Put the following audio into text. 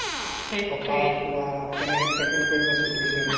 থকা খোৱা কেনেকে tackle কৰিবা situation